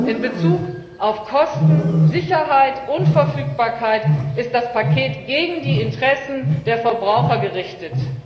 In Bezug auf Kosten, Sicherheit und Verfügbarkeit ist das Paket gegen die Interessen der Verbraucher gerichtet.